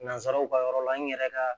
Nanzaraw ka yɔrɔ la n yɛrɛ ka